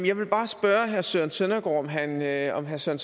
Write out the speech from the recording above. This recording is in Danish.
jeg vil bare spørge herre søren søndergaard om herre søren